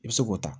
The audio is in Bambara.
I bɛ se k'o ta